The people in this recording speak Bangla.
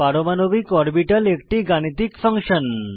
পারমাণবিক অরবিটাল একটি গাণিতিক ফাংশন